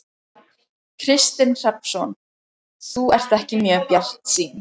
Kristinn Hrafnsson: Þú ert ekki mjög bjartsýn?